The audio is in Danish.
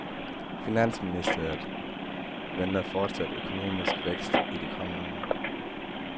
Finansministeriet venter fortsat økonomisk vækst i de kommende år.